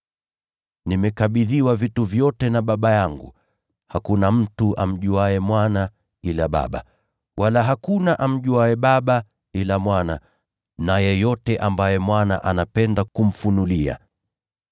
“Nimekabidhiwa vitu vyote na Baba yangu: Hakuna mtu amjuaye Mwana ila Baba, wala hakuna amjuaye Baba ila Mwana na yeyote ambaye Mwana anapenda kumfunulia.